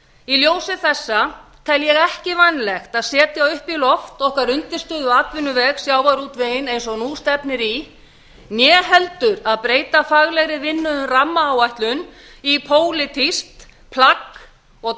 í ljósi þessa tel ég ekki vænlegt að setja upp í loft okkar undirstöðuatvinnuveg sjávarútveginn eins og nú stefnir í né heldur að breyta faglegri vinnu um rammaáætlun í pólitískt plagg og